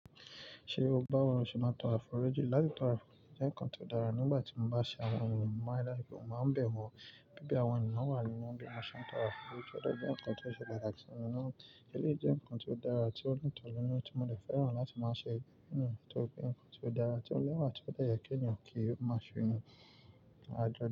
Ṣé o báwo ni o ṣe máa ń tọrọ àforíjì? Látí tọrọ àforíjì jẹ́ ǹkan tó dára nígbà tí mo bá ṣe àwọn ènìyàn mọ́ láìpẹ́, mo máa n bẹ̀ wọ̀. Bíbe àwọn ènìyàn wà nínú bí mo ṣe ń tọrọ àforíjì, ó dé je ǹkan tó ṣe pàtàkì simi. Eléyìí jẹ́ ǹkan tó dára tí ó dùn mo mi nínú tí mo dè fẹ́ràn láti máa ṣe. Hmm, tóri pé ǹkan tí ó dára tí ó lẹ́wà tí ó de yẹ́ kí ènìyàn kí ó máa ṣe nì.